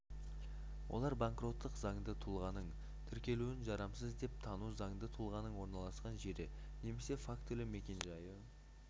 олар банкроттық заңды тұлғаның тіркелуін жарамсыз деп тану заңды тұлғаның орналасқан жері немесе фактілі мекенжайы